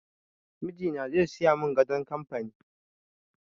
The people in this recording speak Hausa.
Mijina zai siya mun gadon kamfani